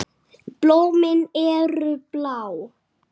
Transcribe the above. Blómin eru blá.